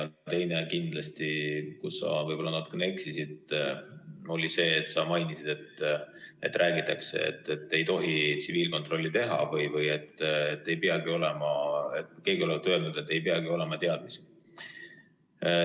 Teine asi kindlasti, kus sa võib-olla natuke eksisid, oli see, kui sa mainisid, et räägitakse, et ei tohi tsiviilkontrolli teha, või nagu keegi olevat öelnud, et ei peagi olema teadmisi.